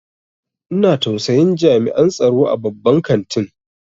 Ina tausayin jami'an tsaro a babban kantin.